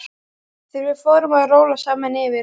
Þegar við fórum að róla saman yfir